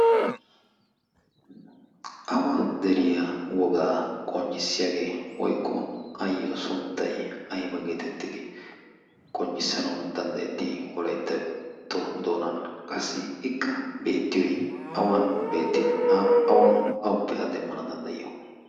awa deriya wogaa qonccissiyaagee woiqqo ayyo sunttai aiba geetettidi qonccissanawu danddayetti?i wolaittatto doonan qassi ikka beettiyoi awan beetti? awappe addeemmana danddayiyo?